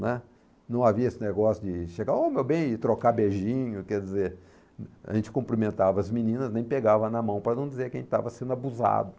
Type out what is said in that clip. né? Não havia esse negócio de chegar ô, meu bem e trocar beijinho, quer dizer, a gente cumprimentava as meninas, nem pegava na mão para não dizer que a gente estava sendo abusado.